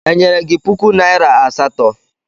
Enyere gi puku naịra asatọ?